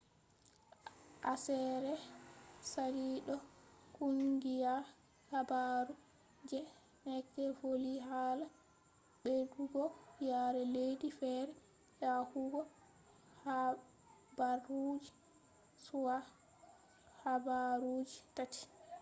aseere sali ɗo kungiya habaru je neked voli hala ɓeddugo yare leddi fere yahugo habaruji be habaruji tati